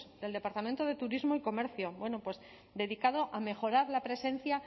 del departamento de turismo y comercio bueno pues dedicado a mejorar la presencia